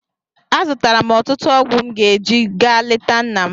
Azụtara m ọtụtụ ọgwụ m ga-eji ga leta nna m.